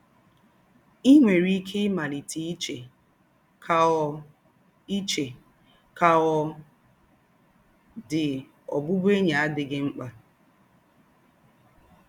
Ì nwèrè íké ímálítè íché, ‘Kà ọ̀ íché, ‘Kà ọ̀ dị̄, ọ̀bụ̀bụ̀én̄yi àdịghị̀ ḿkpà